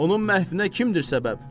Onun məhvinə kimdir səbəb?